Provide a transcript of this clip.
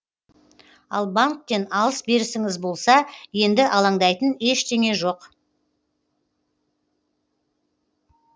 ал банктен алыс берісіңіз болса енді алаңдайтын ештеңе жоқ